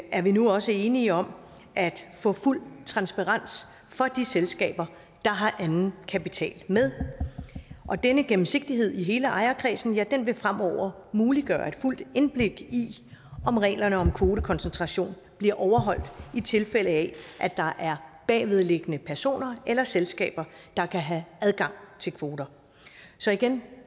er vi nu også enige om at få fuld transparens for de selskaber der har anden kapital med denne gennemsigtighed i hele ejerkredsen vil fremover muliggøre et fuldt indblik i om reglerne om kvotekoncentration bliver overholdt i tilfælde af at der er bagvedliggende personer eller selskaber der kan have adgang til kvoter så igen